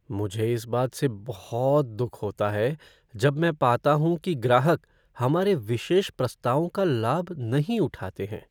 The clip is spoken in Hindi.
मुझे इस बात से बहुत दुख होता है जब मैं पाता हूँ कि ग्राहक हमारे विशेष प्रस्तावों का लाभ नहीं उठाते हैं।